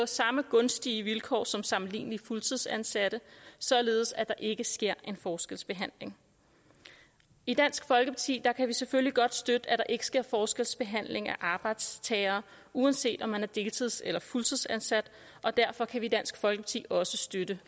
samme gunstige vilkår som sammenlignelige fuldtidsansatte således at der ikke sker en forskelsbehandling i dansk folkeparti kan vi selvfølgelig godt støtte at der ikke sker forskelsbehandling af arbejdstagere uanset om man er deltids eller fuldtidsansat og derfor kan vi i dansk folkeparti også støtte